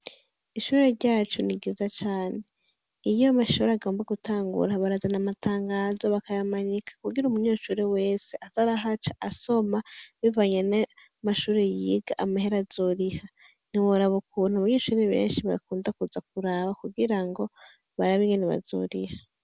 Ishure ryacu ni ryiza cane iyo amashure agomba gutangura barazana amatangazo bakayamanika kugira umenyeshure wese aze arahaca asoma bivanye n' amashure yiga amahera azoriha ntiworaba ukuntu abanyeshure benshi bakunda kuza kuraba kugira ngo barabe ingene bazoriha.